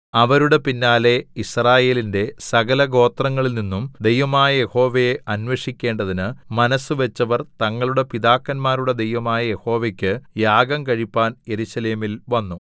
അവരുടെ പിന്നാലെ യിസ്രായേലിന്റെ സകല ഗോത്രങ്ങളിൽ നിന്നും ദൈവമായ യഹോവയെ അന്വേഷിക്കേണ്ടതിന് മനസ്സുവെച്ചവർ തങ്ങളുടെ പിതാക്കന്മാരുടെ ദൈവമായ യഹോവക്കു യാഗംകഴിപ്പാൻ യെരൂശലേമിൽ വന്നു